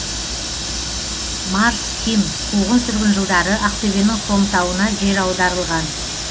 марс ким қуғын сүргін жылдары ақтөбенің хромтауына жер аударылған